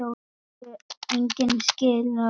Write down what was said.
Það hefur engu skilað.